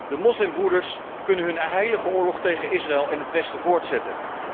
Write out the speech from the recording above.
De moslimbroeders kunnen hun heilige oorlog tegen Israël en het westen voortzetten.